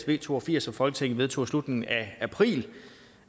v to og firs som folketinget vedtog i slutningen af april